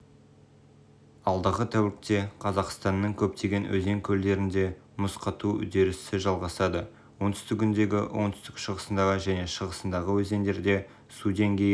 алдағы тәулікте қазақстанның көптеген өзен-көлдерінде мұз қату үдерісі жалғасады оңтүстігіндегі оңтүстік-шығысындағы және шығысындағы өзендерде су деңгейі